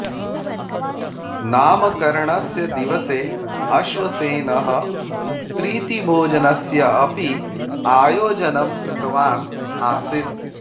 नामकरणस्य दिवसे अश्वसेनः प्रीतिभोजनस्य अपि आयोजनं कृतवान् आसीत्